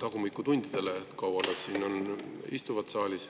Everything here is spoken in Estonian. tagumikutundidele ehk sellele, kui kaua nad siin saalis istuvad.